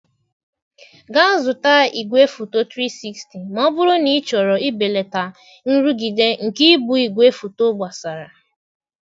Gaa zụta igwefoto 360 ma ọ bụrụ na ịchọrọ ibelata nrụgide nke ibu igwefoto gbasara.